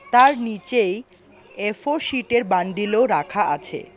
তার নিচেই এফোর শীটের বান্ডিলও রাখা আছে।